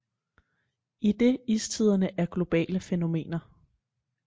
Idet istiderne er globale fænomener